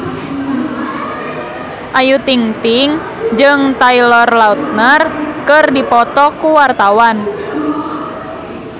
Ayu Ting-ting jeung Taylor Lautner keur dipoto ku wartawan